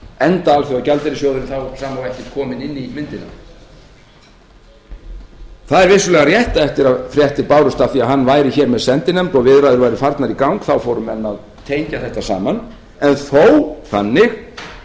enda alþjóðagjaldeyrissjóðurinn þá sama og ekki kominn inn í myndina það er vissulega rétt eftir að fréttir bárust af því að hann væri með sendinefnd og viðræður væru farnar í gang þá fóru menn að tengja þetta saman en þó þannig